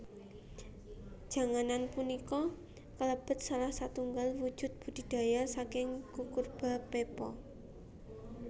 Janganan punika kalebet salah satunggaling wujud budidaya saking Cucurbita pepo